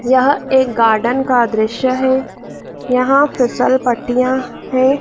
यह एक गार्डन का दृश्य है यहां फिसल पट्टियां हैं।